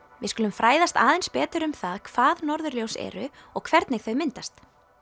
við skulum fræðast aðeins betur um það hvað norðurljós eru og hvernig þau myndast